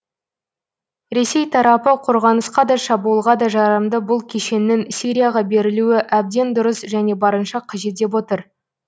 ресей тарапы қорғанысқа да шабуылға да жарамды бұл кешеннің сирияға берілуі әбден дұрыс және барынша қажет деп отыр